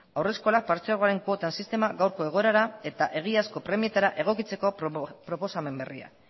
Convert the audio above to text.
haurreskola partzuergoaren kuota sistema gaurko egoerara eta egiazko premietara egokitzeko proposamen berria